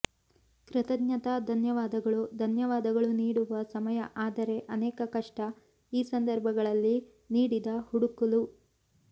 ಕೃತಜ್ಞತಾ ಧನ್ಯವಾದಗಳು ಧನ್ಯವಾದಗಳು ನೀಡುವ ಸಮಯ ಆದರೆ ಅನೇಕ ಕಷ್ಟ ಈ ಸಂದರ್ಭಗಳಲ್ಲಿ ನೀಡಿದ ಹುಡುಕಲು